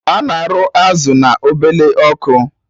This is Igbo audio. Ana arụ azụ na ọbele ọkụ